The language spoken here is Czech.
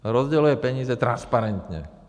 Rozděluje peníze transparentně.